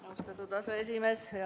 Austatud aseesimees!